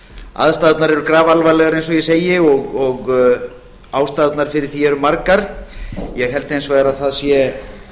aðstæðurnar eru grafalvarlegar eins og ég segi og ástæðurnar fyrir því eru margar ég held hins vegar að það sé